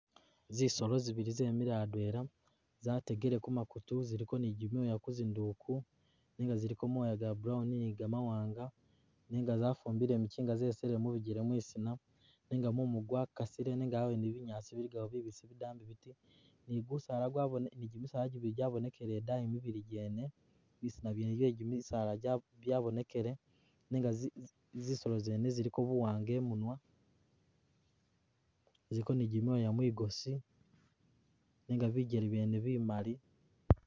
Zisolo zibili zemile adweela, zategele ku makutu ziliko ni gimyooya kuzinduuku nenga ziliko moya ga brown ni gamawaanga nenga zafumbile mikinga zesile mu bigele mwisina nenga mumu gwakasile nenga awene binyaasi biligawo bidambi biti ni gusaala ni gimisaala gibili gyabonekile idaayi yene. Bisina byene bye gimisaala gya byabonekele nenga zi zisolo zene ziliko buwaanga i'munwa, ziliko ni gimyoya mwigosi nenga bijele byene bimali.